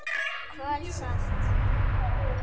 KOL SALT